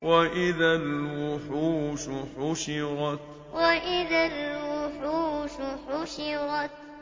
وَإِذَا الْوُحُوشُ حُشِرَتْ وَإِذَا الْوُحُوشُ حُشِرَتْ